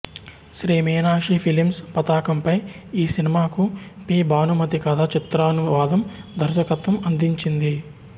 Shri Meenakshi films పతాకంపై ఈ సినిమాకు పి భానుమతి కథ చిత్రానువాదం దర్శకత్వం అందించింది